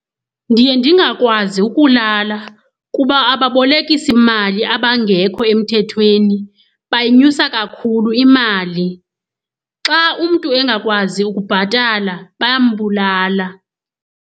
Ndiye ndingakwazi ukulala kuba ababolekisimali abangekho emthethweni bayinyusa kakhulu imali. Xa umntu engakwazi ukubhatala bayambulala.